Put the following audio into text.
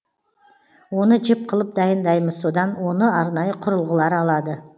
оны жіп қылып дайындаймыз содан оны арнайы құрылғылар алады